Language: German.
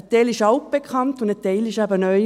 Ein Teil ist altbekannt und ein Teil ist eben neu.